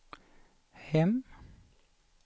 hem